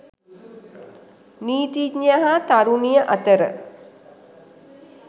නීතිඥයා හා තරුණිය අතර